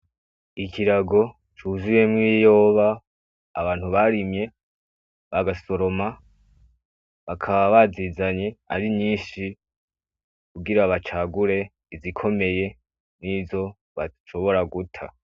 Ikirago cuzuyemw' ibiyoba abantu barimye; bagasoroma bakaba bazizanye ari nyinshi kugira bacagure izikomeye; n'izo bashobora guta.